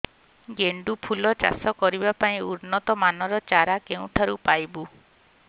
ଗେଣ୍ଡୁ ଫୁଲ ଚାଷ କରିବା ପାଇଁ ଉନ୍ନତ ମାନର ଚାରା କେଉଁଠାରୁ ପାଇବୁ